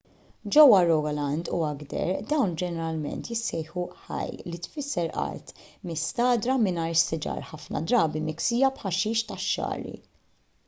ġewwa rogaland u agder dawn ġeneralment jissejħu hei li tfisser art mistagħdra mingħajr siġar ħafna drabi miksija b'ħaxix tax-xagħri